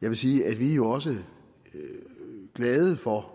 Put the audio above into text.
jeg vil sige at vi jo også er glade for